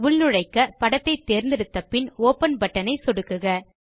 உள் நுழைக்க படத்தை தேர்ந்தெடுத்த பின் ஒப்பன் பட்டன் ஐ சொடுக்குக